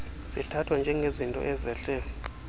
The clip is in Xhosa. zithathwa njengezinto ezehle